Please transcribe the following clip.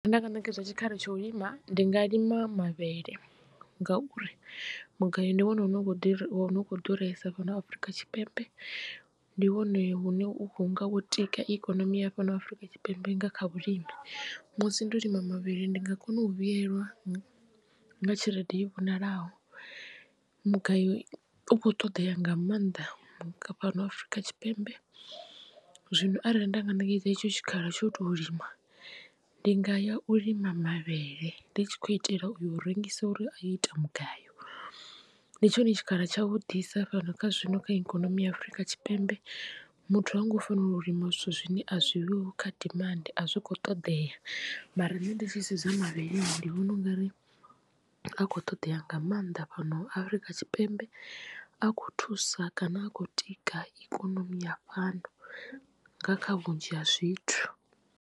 Nda nga ṋekedzwa tshikhala tsho u lima ndi nga lima mavhele ngauri mugayo ndi wone une u khou ḓuresa fhano afrika tshipembe ndi wone hune hunga wo tika ikonomi ya fhano Afurika Tshipembe nga kha vhulimi. Musi ndo lima mavhele ndi nga kona u vhuyelwa nga tshelede i vhonalaho mugayo u kho ṱoḓea nga maanḓa fhano afrika tshipembe zwino arali nda nga ṋekedzwa etsho tshikhala tsho u tou lima ndi nga ya u lima mavhele ndi tshi khou itela u yo u rengisa uri a yo ita mugayo. Ndi tshone tshikhala tsha vhu ḓisa fhano kha zwino kha ikonomi ya Afurika Tshipembe muthu ha ngo fanela u lima zwithu zwine a zwi ho kha dimandi a zwi kho ṱoḓea mara nṋe ndi tshi sedza mavhele ndi vhona u nga ri a kho ṱoḓea nga maanḓa fhano afrika tshipembe a khou thusa kana a khou tika ikonomi ya fhano nga kha vhunzhi ha zwithu.